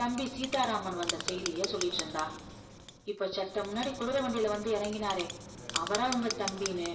தம்பி சீதாராமன் வந்த செய்தியை சொல்லிட்டு இருந்தா இப்போ செத்த முன்னாடி குதிரை வண்டியிலே வந்து இறங்கினாரே அவரா உங்க தம்பின்னு